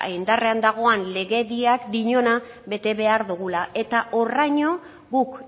indarrean dagoen legediak diona bete behar dugula eta horraino guk